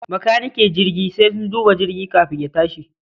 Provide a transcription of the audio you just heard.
Macanike jirgi sai sun duba jirgi kafin ya tashi